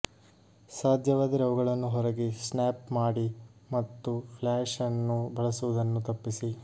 ಸಾಧ್ಯವಾದರೆ ಅವುಗಳನ್ನು ಹೊರಗೆ ಸ್ನ್ಯಾಪ್ ಮಾಡಿ ಮತ್ತು ಫ್ಲ್ಯಾಷ್ ಅನ್ನು ಬಳಸುವುದನ್ನು ತಪ್ಪಿಸಿ